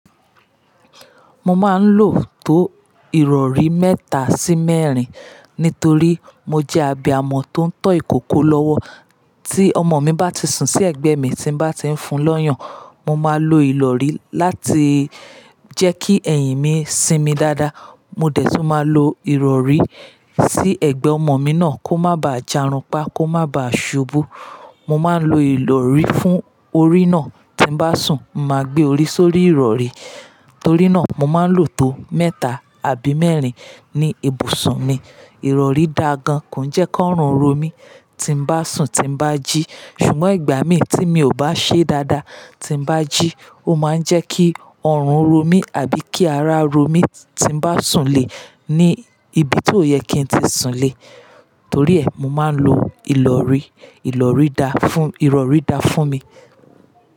Mo máa ń lo tó ìrọrí mẹ́ta sí mẹ́rin nítorí mo jẹ́ abì amọ̀ tó ń tọ́ ìkòkò lọ́wọ́. Tí ọmọ mi bá ti sùn sí ẹ̀gbẹ́ mi tí mo bá ti ń fun lọ́yàn, mo máa lo ìrọrí láti jẹ́ kí ẹ̀yìn mi sinmi dáadáa. Mo dẹ̀ tún máa lo ìrọrí sí ẹ̀gbẹ́ ọmọ mi náà kó má bà á jàrunpa, kó má bà á ṣubú. Mo máa ń lo ìrọrí fún orí náà. Ti bá sùn, mo máa gbé orí sórí ìrọrí. Torí náà, mo máa ń lo tó mẹ́ta àbí mẹ́rin ní ibùsùn mi. Ìrọrí da gan, kò jẹ́ kó ọrùn ro mí tí bá sùn, tí bá jí. Sùnmọ́ ìgbà mí tí mi ò bá ṣe dáadáa, ti bá jí, ó máa jẹ́ kí ọrùn ro mí àbí kí ara ro mí tí bá sùn lé ní ibi tó yẹ kí n tì sùn le. Torí ẹ, mo máa ń lo ìrọrí. Ìrọrí da fún, ìrọrí da fún mi.